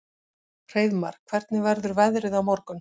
Hreiðmar, hvernig verður veðrið á morgun?